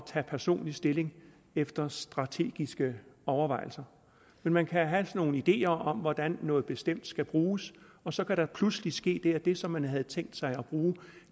tage personlig stilling efter strategiske overvejelser men man kan have nogle ideer om hvordan noget bestemt skal bruges og så kan der pludselig ske det at det som man havde tænkt sig at bruge